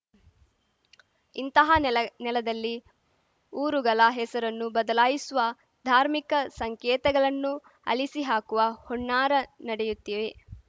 ಇಂತಹ ನೆಲ ನೆಲದಲ್ಲಿ ಊರುಗಲ ಹೆಸರನ್ನು ಬದಲಾಯಿಸುವ ಧಾರ್ಮಿಕ ಸಂಕೇತಗಲನ್ನು ಅಲಿಸಿಹಾಕುವ ಹುನ್ನಾರ ನಡೆಯುತ್ತಿವೆ